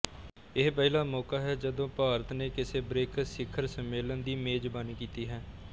ਇਹ ਪਹਿਲਾ ਮੌਕਾ ਹੈ ਜਦੋਂ ਭਾਰਤ ਨੇ ਕਿਸੇ ਬ੍ਰਿਕਸ ਸਿਖਰ ਸੰਮੇਲਨ ਦੀ ਮੇਜਬਾਨੀ ਕੀਤੀ ਹੈ